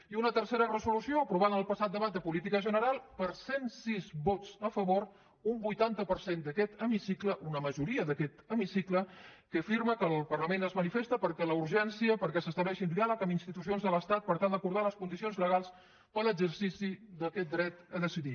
i una tercera resolució aprovada en el passat debat de política general per cent sis vots a favor un vuitanta per cent d’aquest hemicicle una majoria d’aquest hemicicle que afirma que el parlament es manifesta per la urgència perquè s’estableixi un diàleg amb institucions de l’estat per tal d’acordar les condicions legals per a l’exercici d’aquest dret a decidir